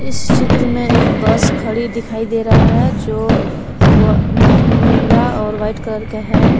इस चित्र में एक बस खड़ी दिखाई दे रहा है जो व नीला और वाइट कलर का है।